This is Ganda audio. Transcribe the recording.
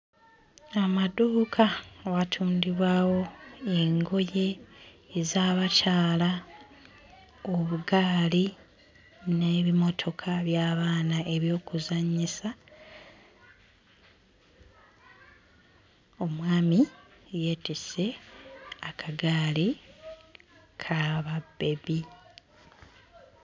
Amaduuka watundibwawo engoye ez'abakyala obugaali n'ebimotoka by'abaana eby'okuzannyisa omwami yeetisse akagaali ka babbebi.